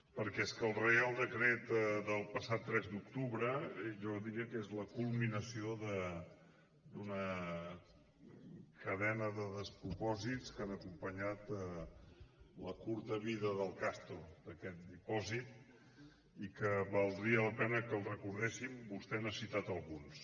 perquè és que el reial decret del passat tres d’octubre jo diria que és la culminació d’una cadena de despropòsits que han acompanyat la curta vida del castor d’aquest dipòsit i que valdria la pena que els recordéssim vostè n’ha citat alguns